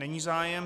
Není zájem.